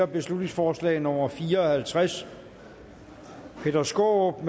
beslutningsforslag nummer b fire og halvtreds peter skaarup